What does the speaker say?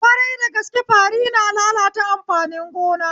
Ƙwarai dagaske fari na lalata amfanin gona